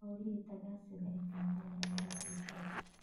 Howlihii tagaasida ee Kampala ayaa la joojiyay.